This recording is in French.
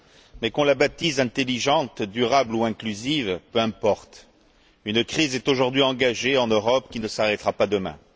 Mais qu'on la baptise intelligente, durable ou inclusive, peu importe, une crise est aujourd'hui engagée en Europe, qui ne s'arrêtera pas demain.